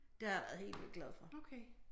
Det har jeg været helt vildt glad for